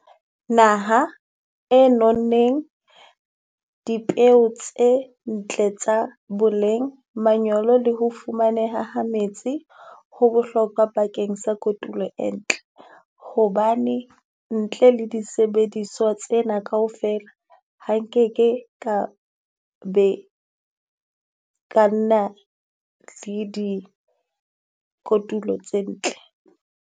Naha e non neng dipeo tse ntle tsa boleng, manyolo le ho fumaneha ha metsi. Ho bohlokwa bakeng sa kotulo e ntle hobane ntle le disebediswa tsena kaofela, ha nkeke ka be ka nna le di kotulo tse ntle.